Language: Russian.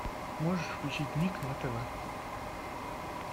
можешь включить ник на тв